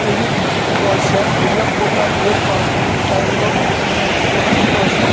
ఇది దోశ ఉదయం పూట బ్రేక్ పాస్ట్ టైమ్ లో తీసుకునేటటువంటి దోశ.